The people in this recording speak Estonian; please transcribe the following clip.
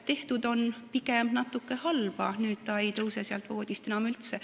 Tehtud on pigem natuke halba, sest nüüd ta ei tõuse voodist enam üldse.